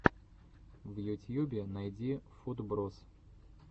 в ютьюбе найди футброз